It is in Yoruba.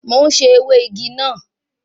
Mo ń sè ewé igi náà